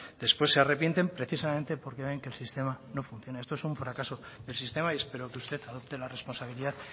después se arrepienten precisamente porque ven que el sistema no funciona esto es un fracaso del sistema y espero que usted adopte la responsabilidad